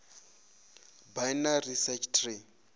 binary search tree